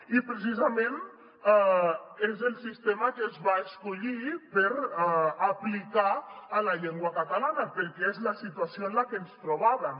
i precisament és el sistema que es va escollir per aplicar a la llengua catalana perquè és la situació en la que ens trobàvem